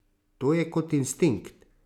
To je kot instinkt.